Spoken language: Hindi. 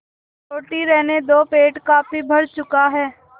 रोटी रहने दो पेट काफी भर चुका है